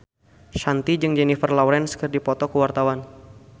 Shanti jeung Jennifer Lawrence keur dipoto ku wartawan